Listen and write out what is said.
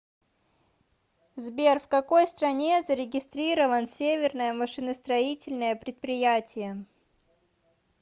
сбер в какой стране зарегистрирован северное машиностроительное предприятие